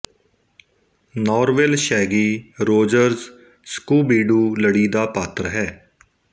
Norville Shaggy Rogers Scooby Doo ਲੜੀ ਦਾ ਪਾਤਰ ਹੈ